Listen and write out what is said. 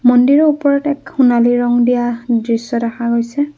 মন্দিৰৰ ওপৰতে এক সোণালী ৰং দিয়া দৃশ্য দেখা গৈছে।